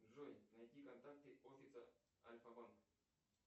джой найди контакты офиса альфа банк